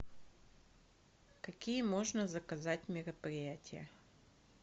какие можно заказать мероприятия